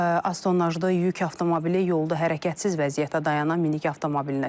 AZTONAY yük avtomobili yolda hərəkətsiz vəziyyətdə dayanan minik avtomobilinə çırpılıb.